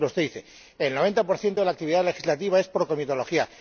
Por ejemplo, usted dice el 90 de la actividad legislativa es por comitología.